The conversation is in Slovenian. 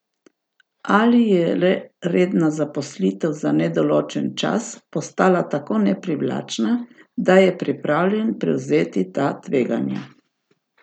Ali je le redna zaposlitev za nedoločen čas postala tako neprivlačna, da je pripravljen prevzeti ta tveganja?